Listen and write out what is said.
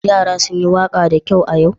Yara sun yi waƙa da kyau a yau?